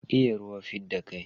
Iya ruwa fidda kai.